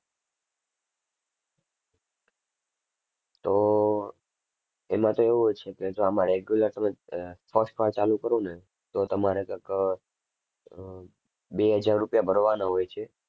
તો એમાં તો એવું હોય છે કે જો આમાં regular તમે આહ first વાર ચાલુ કરો ને તો તમારે કઈક અર બે હજાર રૂપિયા ભરવાના હોય છે.